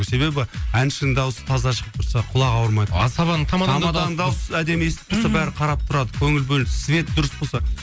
себебі әншінің дауысы таза шығып тұрса құлағы ауырмайды асабаның тамаданың тамаданың дауысы әдемі естіліп тұрса бәрі қарап тұрады көңіл бөліп свет дұрыс тұрса